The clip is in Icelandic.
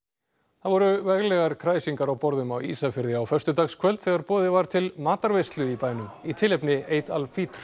það voru kræsingar á borðum á Ísafirði á föstudagskvöld þegar boðið var til matarveislu í bænum í tilefni Eid al